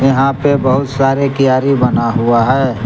यहां पे बहुत सारे कीयारी बना हुआ है।